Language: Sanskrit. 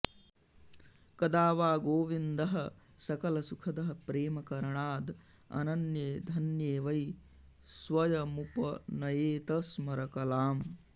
कदा वा गोविन्दः सकलसुखदः प्रेमकरणाद् अनन्ये धन्ये वै स्वयमुपनयेत स्मरकलाम्